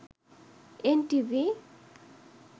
NTV